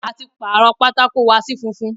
A ti pàrọ̀ pátákó wa sí funfun.